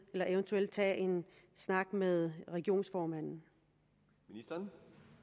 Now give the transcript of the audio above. og eventuelt tage en snak med regionsformanden om